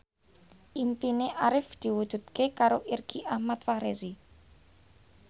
impine Arif diwujudke karo Irgi Ahmad Fahrezi